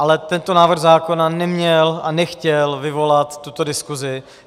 Ale tento návrh zákona neměl a nechtěl vyvolat tuto diskusi.